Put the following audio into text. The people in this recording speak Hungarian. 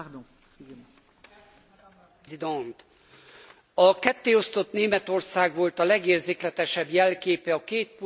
A kettéosztott Németország volt a legérzékletesebb jelképe a kétpólusú világ abszurditásának és embertelenségének.